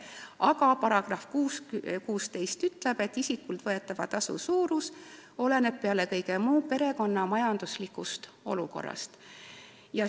Aga sotsiaalhoolekande seaduse § 16 ütleb, et isikult võetava tasu suurus oleneb peale kõige muu perekonna majanduslikust olukorrast.